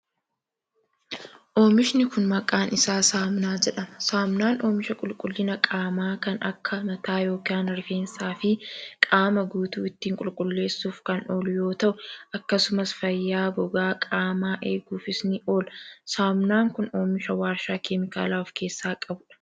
Oomishni kun, maqaan isaa saamunaa jedhama. Saamunaan oomisha qulqullina qaamaa kan akka: mataa yokin rifeensa fi qaama guutuu ittiin qululleessuuf kan oolu yoo ta'u, akkasumas fayyaa gogaa qaamaa eeguufis ni oola. Saamunaan kun, oomisha warshaa keemikaala of keessaa qabuu dha.